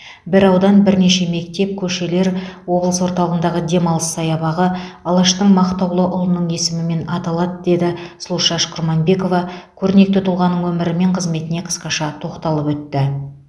бір аудан бірнеше мектеп көшелер облыс орталығындағы демалыс саябағы алаштың мақтаулы ұлының есімімен аталады деген сұлушаш құрманбекова көрнекті тұлғаның өмірі мен қызметіне қысқаша тоқталып өтті